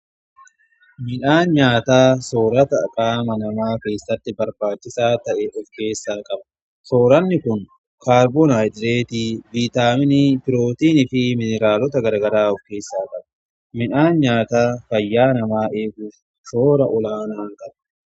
midhaan nyaataa soorata qaama namaa keessatti barbaachisaa ta'e of keessaa qaba sooranni kun kaarboon hidireet, vitaaminii pirootiinii fi mineraalota garagaraa of keessa qaba. Midhaan nyaataa fayyaa namaa eeguun shoora olaanaa qaba.